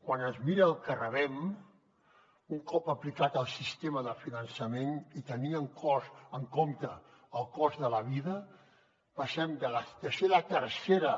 quan es mira el que rebem un cop aplicat el sistema de finançament i tenint en compte el cost de la vida passem de ser la tercera